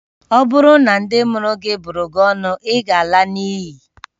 Ọ bụrụ na ndị mụrụ gị bụrụ gị ọnụ, ị ga-ala n'iyi